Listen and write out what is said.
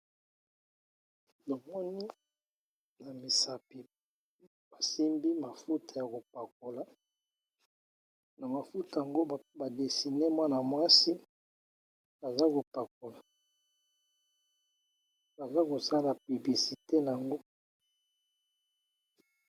Namoni na misapi basimbi mafuta ya kopakola na mafuta yango ba desine mwana mwasi aza kopakola baza kosala publicite na yango